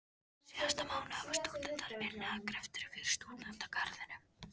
Síðasta mánuð hafa stúdentar unnið að greftri fyrir Stúdentagarðinum.